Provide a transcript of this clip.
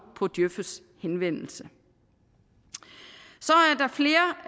på djøfs henvendelse så